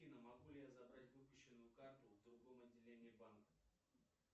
афина могу ли я забрать выпущенную карту в другом отделении банка